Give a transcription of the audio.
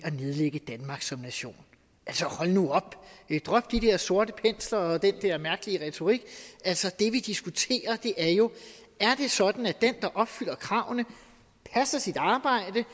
at nedlægge danmark som nation altså hold nu op drop de der sorte pensler og den der mærkelige retorik det vi diskuterer er jo er det sådan at den der opfylder kravene passer sit arbejde